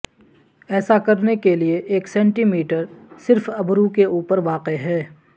ایسا کرنے کے لئے ایک سینٹی میٹر صرف ابرو کے اوپر واقع ہے